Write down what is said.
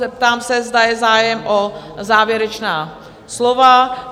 Zeptám se, zda je zájem o závěrečná slova?